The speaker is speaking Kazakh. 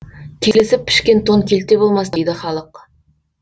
келісіп пішкен тон келте болмас дейді халық